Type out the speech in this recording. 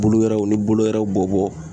Bolo wɛrɛw ni bolo wɛrɛw bɔbɔ